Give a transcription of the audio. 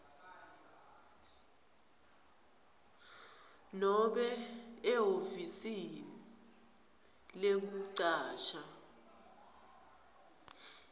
nobe ehhovisi lekucasha